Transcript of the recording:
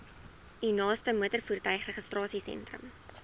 u naaste motorvoertuigregistrasiesentrum